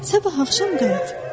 Sabah axşam qayıt.